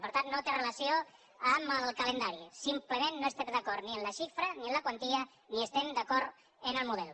per tant no té relació amb el calendari simplement no estem d’acord ni amb la xifra ni amb la quantia ni estem d’acord amb el model